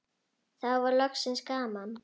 Nú var loksins gaman.